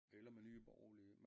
Eller med Nye Borgerlige